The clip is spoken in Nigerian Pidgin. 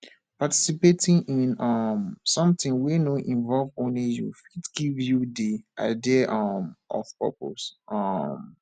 participating in um something wey no involve only you fit give you di idea um of purpose um